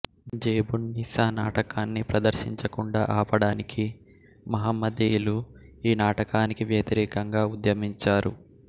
జేబున్నీసా నాటకాన్ని ప్రదర్శించకుండా ఆపడానికి మహమ్మదీయులు ఈ నాటకానికి వ్యతిరేకంగా ఉద్యమించారు